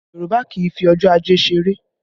Yorùbá kì í fi ọjọ́ ajé ṣeré